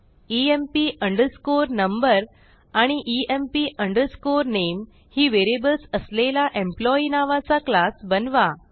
EMP underscore number आणि EMP underscore नामे ही व्हेरिएबल्स असलेला एम्प्लॉई नावाचा क्लास बनवा